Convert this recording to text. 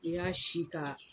I y'a si ka.